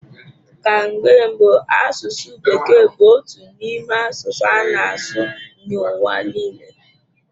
Ka mgbe mbụ asụsụ bekee bụ otu n'ime asụsụ a na-asụ n'ụwa niile.